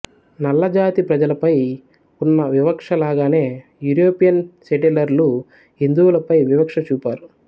నల్లజాతి ప్రజలపై ఉన్న వివక్ష లాగానే యూరోపియన్ సెటిలర్లు హిందువులపై వివక్ష చూపారు